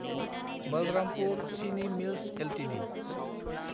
Balrampur Chini Mills Ltd